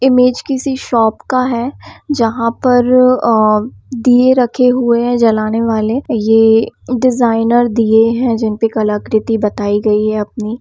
image किसी shop का है जहाँ पर अ अ दीये रखे हुए हैं जलाने वाले ये डिज़ाइनर दीये है जिनपर कलाकृति बताई गयी है अपनी--